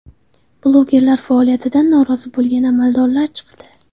Blogerlar faoliyatidan norozi bo‘lgan amaldorlar chiqdi.